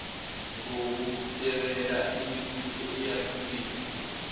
ngokusekela imibutho eyahlukile